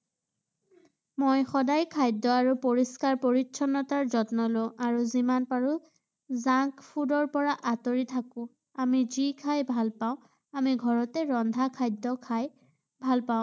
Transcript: মই সদায় খাদ্য আৰু পৰিষ্কাৰ-পৰিচ্ছন্নতাৰ যত্ন লওঁ আৰু যিমান পাৰোঁ junk food -ৰ পৰা আঁতৰি থাকো ৷ আমি যি খাই ভালপাওঁ আমি ঘৰতে ৰন্ধা খাদ্য খাই ভালপাওঁ।